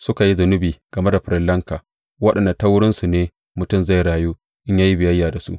Suka yi zunubi game da farillanka waɗanda ta wurinsu ne mutum zai rayu in ya yi biyayya da su.